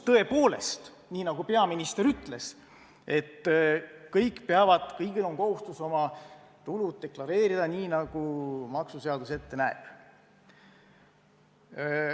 Tõepoolest, nii nagu peaminister ütles, kõik peavad oma tulusid deklareerima, nii nagu maksuseadus ette näeb.